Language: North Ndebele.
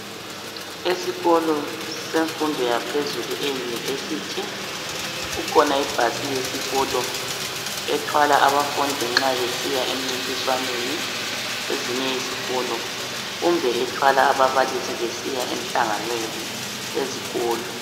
Esikolo semfundo yaphezulu eYunivesi, kukhona ibhasi yesikolo ethwala abafundi nxa besiya emncintiswaneni kwesinye isikolo kumbe ethwala ababalisi besiya emhlanganweni wezikolo.